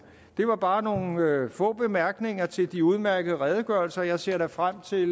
det var bare nogle få bemærkninger til de udmærkede redegørelser og jeg ser da frem til